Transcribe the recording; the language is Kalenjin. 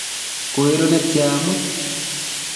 koiru netya amut?